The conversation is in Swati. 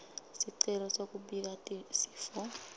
sicelo sekubika sifo